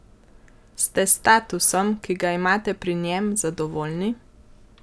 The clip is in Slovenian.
Ste s statusom, ki ga imate pri njem, zadovoljni?